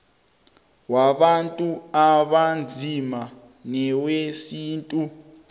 wabantu abanzima newesintu